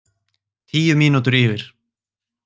Tíu mínútur yfir